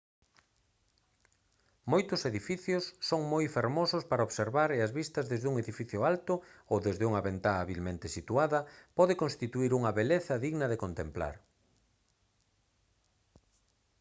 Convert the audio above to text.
moitos edificios son moi fermosos para observar e as vistas desde un edificio alto ou desde unha ventá habilmente situada pode constituír unha beleza digna de contemplar